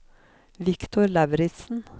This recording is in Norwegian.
Viktor Lauritsen